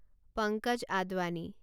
Pankaj Advani